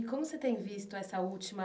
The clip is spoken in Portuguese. E como você tem visto essa última